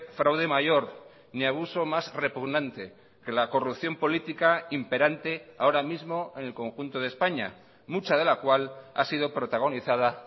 fraude mayor ni abuso más repugnante que la corrupción política imperante ahora mismo en el conjunto de españa mucha de la cual ha sido protagonizada